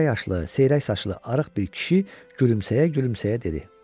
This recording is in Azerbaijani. Orta yaşlı, seyrək saçlı, arıq bir kişi gülümsəyə-gülümsəyə dedi: